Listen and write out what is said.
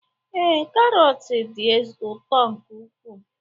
Ee, karọt dị ụtọ nke ukwuu